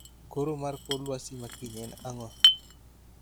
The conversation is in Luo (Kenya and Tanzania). Koro mar kor lwasi makiny en ang'o